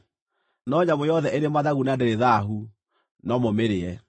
No nyamũ yothe ĩrĩ mathagu na ndĩrĩ thaahu no mũmĩrĩe.